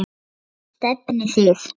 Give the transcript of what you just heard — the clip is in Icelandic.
Hvert stefnið þið?